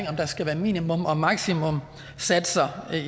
om der skal være minimums og maksimumssatser